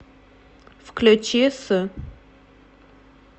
включи с